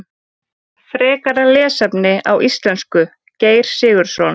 Frekara lesefni á íslensku Geir Sigurðsson.